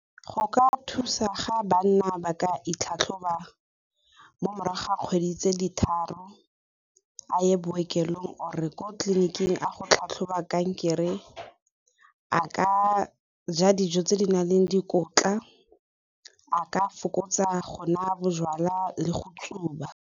Go ka thusa ga banna ba ka itlhatlhoba mo morago ga kgwedi tse di tharo, a ye bookelong or ko tleliniking a go tlhoba kankere, a ka ja dijo tse di nang le dikotla a ka fokotsa go nwa bojalwa le go tsuba.